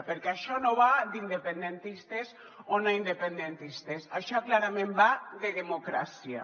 perquè això no va d’independentistes o no independentistes això clarament va de democràcia